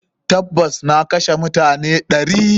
Tabas, na kashe mutane ɗari.